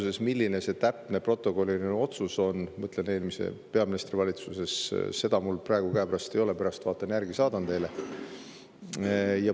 Ma ei tea, milline see täpne protokolliline otsus on – ma mõtlen eelmise peaministri valitsuse –, mul seda praegu käepärast ei ole, pärast vaatan järele ja saadan teile.